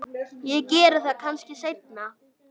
Ég geri það kannski seinna.